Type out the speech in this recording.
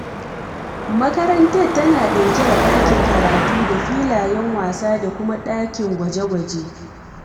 Makarantar tana ɗauke da ɗakin karatu da filayen wasa da kuma ɗakin gwaje-gwaje.